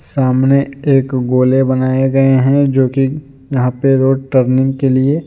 सामने एक गोले बनाए गए हैं जो कि यहां पर रोड टर्निंग के लिए--